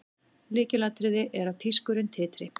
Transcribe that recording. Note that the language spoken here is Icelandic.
Lykilatriði er að pískurinn titri.